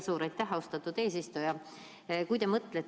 Suur aitäh, austatud eesistuja!